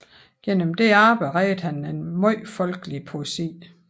Gennem dette arbejde reddede han en meget folkelig poesi